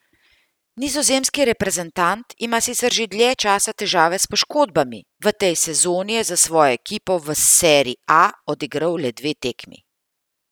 Nizozemski reprezentant ima sicer že dlje časa težave s poškodbami, v tej sezoni je za svojo ekipo v serie A odigral le dve tekmi.